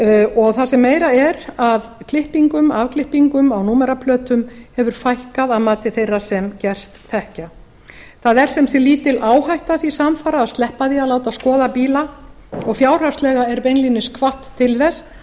og það sem meira er að afklippingum á númeraplötum hefur fækkað að mati þeirra sem gerst þekkja það er sem sagt lítil áhætta því samfara að sleppa því að láta skoða bíla og fjárhagslega er beinlínis hvatt til þess